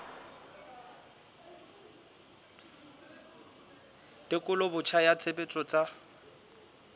tekolo botjha ya tshebetso tsa